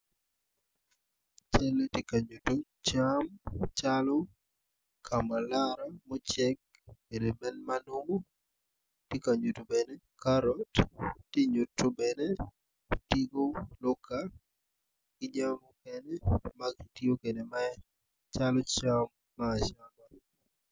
Cal ma tye ka nyuto cam calo kamulara mucek Lugitye ka ngwec kun gitye madwong adada kun gin weng gitye ma oruko bongo mapafipadi dok kalane tye patpat kungin tye ka jami mukene ma kitiyo kwede calo rice.